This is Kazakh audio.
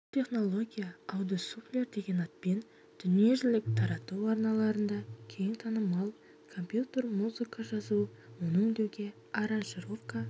бұл технология аудиосуфлер деген атпен дүниежүзілік радиотарату арналарында кең танымал компьютер музыка жазу оны өңдеуде аранжировка